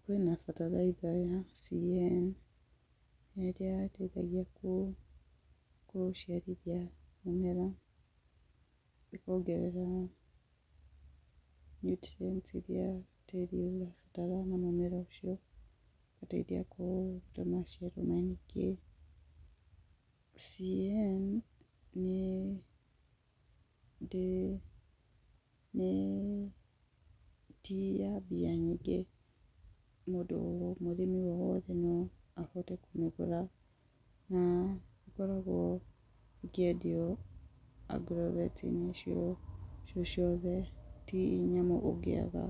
Kwĩna bataraitha ya C.A.N, ĩrĩa ĩteithagia gũciarithia mĩmera, ĩkongerera nutrients iria tĩri ũrabatara na mũmera ũcio, ĩgateithia kũgĩa maciaro maingĩ. C.A.N. nĩ tĩyambia nyingĩ, mũrĩmi wothe noahote kũmĩgũra, na ĩkoragwo ĩkĩendio agrovet -inĩ icio ciothe, tinyamũ ũngĩaga,